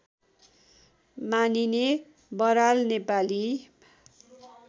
मानिने बराल नेपाली